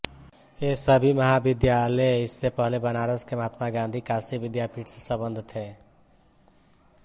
ये सभी महाविद्यालय इससे पहले बनारस के महात्मा गाँधी काशी विद्यापीठ से सम्बद्ध थे